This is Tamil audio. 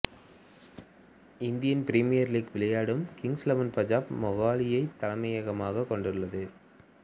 இந்தியன் பிரீமியர் லீக்கில் விளையாடும் கிங்சு இலெவன் பஞ்சாபு மொகாலியைத் தலைமையகமாகக் கொண்டுள்ளது